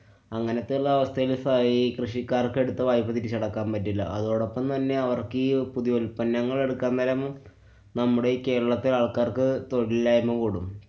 അങ്ങനത്തെ ഉള്ള അവസ്ഥയില് സായി~ കൃഷിക്കാര്‍ക്ക് എടുത്ത വായ്പ്പ തിരിച്ചടക്കാന്‍ പറ്റില്ല. അതോടൊപ്പം തന്നെ അവര്‍ക്കീ പുതിയ ഉല്‍പ്പന്നങ്ങള്‍ എടുക്കാന്‍ നേരം നമ്മുടെ ഈ കേരളത്തെ ആള്‍ക്കാര്‍ക്ക് തൊഴിലില്ലായ്മ്മ കൂടും.